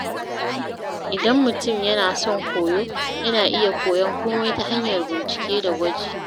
Idan mutum yana son koyo, yana iya koyon komai ta hanyar bincike da gwaji.